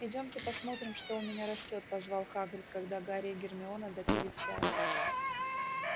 идёмте посмотрим что у меня растёт позвал хагрид когда гарри и гермиона допили чай